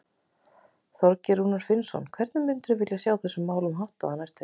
Þorgeir Rúnar Finnsson: Hvernig myndir þú vilja sjá þessum málum háttað á næstunni?